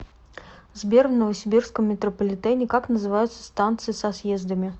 сбер в новосибирском метрополитене как называются станции со съездами